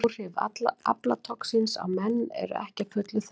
Áhrif aflatoxíns á menn eru ekki að fullu þekkt.